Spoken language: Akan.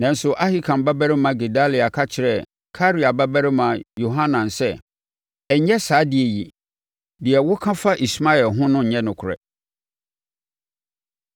Nanso, Ahikam babarima Gedalia ka kyerɛɛ Karea babarima Yohanan sɛ, “Ɛnyɛ saa adeɛ yi! Deɛ woka fa Ismael ho no nyɛ nokorɛ.”